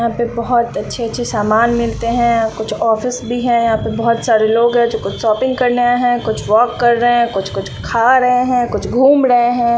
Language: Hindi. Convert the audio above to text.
यहां पे बहोत अच्छे-अच्छे सामान मिलते हैं कुछ ऑफिस भी हैं यहां पे बहोत सारे लोग है जो कुछ शॉपिंग करने आए हैं कुछ वाॅक कर रहे हैं कुछ-कुछ खा रहे हैं कुछ घूम ड़े हैं।